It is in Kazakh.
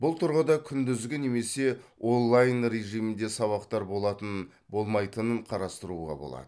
бұл тұрғыда күндізгі немесе онлайн режимінде сабақтар болатын болмайтынын қарастыруға болады